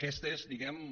aquesta és diguem ne